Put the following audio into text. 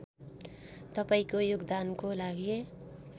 तपाईँको योगदानको लागि